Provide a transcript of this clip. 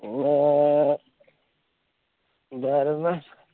ഇന്ന്